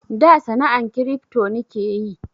Da sana'an kiripto nike yi